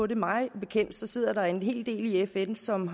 det mig bekendt sidder der en hel del i fn som